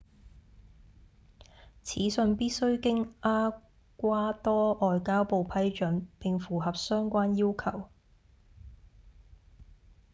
此信必須經厄瓜多外交部批准並符合相關要求